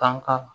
Tanka